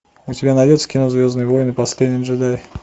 у тебя найдется кино звездные войны последний джедай